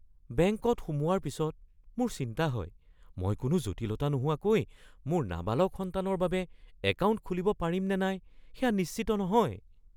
বেংকত সোমোৱাৰ পিছত মোৰ চিন্তা হয়, মই কোনো জটিলতা নোহোৱাকৈ মোৰ নাবালক সন্তানৰ বাবে একাউণ্ট খুলিব পাৰিম নে নাই সেয়া নিশ্চিত নহয়।